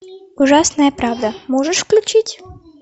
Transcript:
ужасная правда можешь включить